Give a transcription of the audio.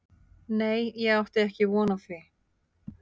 Nei ég átti ekki von á því.